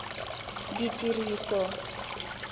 ditiriso